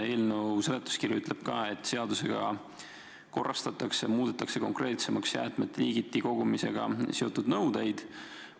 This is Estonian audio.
Eelnõu seletuskiri ütleb, et seadusega korrastatakse, muudetakse konkreetsemaks jäätmete liigiti kogumisega seotud nõudeid.